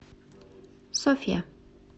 софья